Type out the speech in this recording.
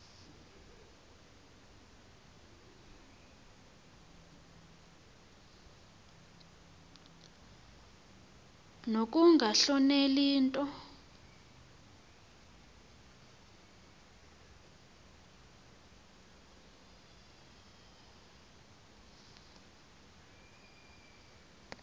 nokunga hloneli nto